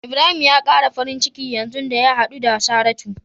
Ibrahim ya kara farin ciki yanzu da ya hadu da Saratu.